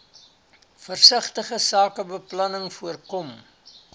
versigtige sakebeplanning voorkom